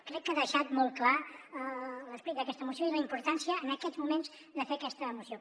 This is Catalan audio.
crec que ha deixat molt clar l’esperit d’aquesta moció i la importància en aquests moments de fer aquesta moció